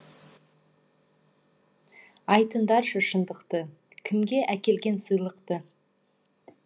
айтыңдаршы шындықты кімге әкелген сыйлықты